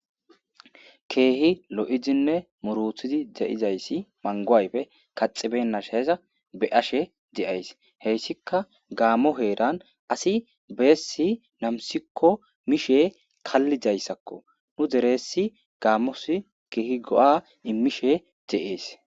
Kehi lo'iddinne muurutiddi deiizayssi manggo ayffe kaxxibeynashaza beashe de'ayssi hessika gammo heeran asi bessi nammissiko mishshe kaalidayssako nu deeres gammosi kehi goo'a immishe de'essi.